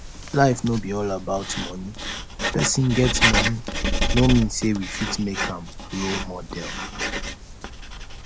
life no be all about money person get money no mean say we fit make am role model